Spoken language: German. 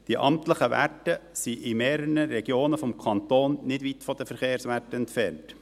Die amtlichen Werte sind in mehreren Regionen des Kantons nicht weit von den Verkehrswerten entfernt.